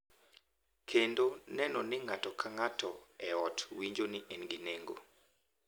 Kendo neno ni ng’ato ka ng’ato e ot winjo ni en gi nengo,